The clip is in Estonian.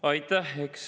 Aitäh!